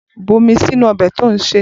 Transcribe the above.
Bu omi sínú ọbẹ̀ tí ò ń sè!